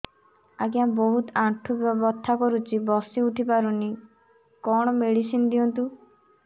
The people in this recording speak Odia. ଆଜ୍ଞା ବହୁତ ଆଣ୍ଠୁ ବଥା କରୁଛି ବସି ଉଠି ପାରୁନି କଣ ମେଡ଼ିସିନ ଦିଅନ୍ତୁ